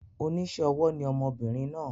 Onísé ọwọ́ ni ọmọbìnrin naa